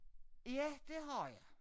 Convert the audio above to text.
Ja det har jeg